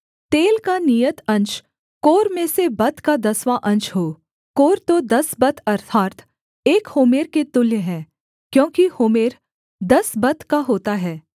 तेल का नियत अंश कोर में से बत का दसवाँ अंश हो कोर तो दस बत अर्थात् एक होमेर के तुल्य है क्योंकि होमेर दस बत का होता है